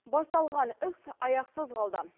басаталған іс аяқсыз қалды